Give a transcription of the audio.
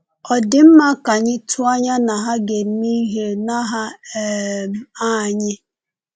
Ọ dị mma ka anyị tụọ anya na ha ga-eme ihe n’aha um anyị?’